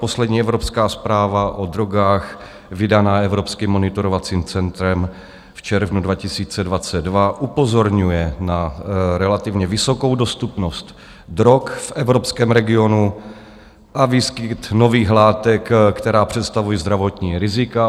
Poslední evropská zpráva o drogách, vydaná Evropským monitorovacím centrem v červnu 2022, upozorňuje na relativně vysokou dostupnost drog v evropském regionu a výskyt nových látek, které představují zdravotní rizika.